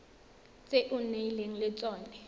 tse o nnileng le tsone